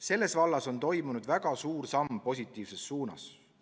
Selles vallas on toimunud väga suur samm positiivses suunas.